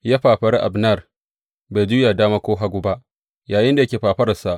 Ya fafari Abner, bai juya dama ko hagu ba, yayinda yake fafararsa.